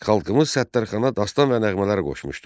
Xalqımız Səttarxana dastan və nəğmələr qoşmuşdu.